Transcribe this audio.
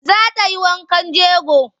Za ta yi wankan jego?